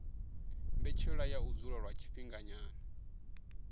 mbetshelwa ya u dzula lwa tshifhinganyana